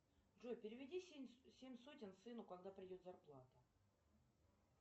джой переведи семь сотен сыну когда придет зарплата